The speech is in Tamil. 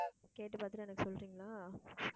கேட்டு பாத்துட்டு எனக்கு சொல்றீங்களா